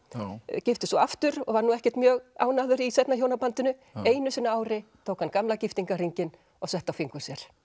giftist svo aftur og var nú ekkert mjög ánægður í seinna hjónabandinu einu sinni á ári tók hann gamla og setti á fingur sér